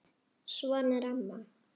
Svona er amma.